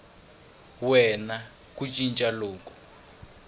we na ku cinca loku